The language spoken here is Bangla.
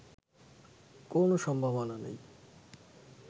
কোনো সম্ভাবনা নেই